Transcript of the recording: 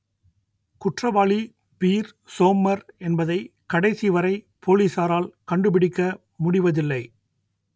குற்றவாளி Peer Sommer என்பதை கடைசிவரை போலீஸாரால் கண்டுபிடிக்க முடிவதில்லை